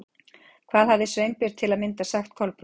Hvað hafði Sveinbjörn til að mynda sagt Kolbrúnu?